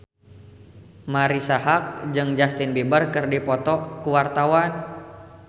Marisa Haque jeung Justin Beiber keur dipoto ku wartawan